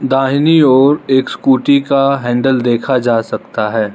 दाहिनी ओर एक स्कूटी का हैंडल देखा जा सकता है।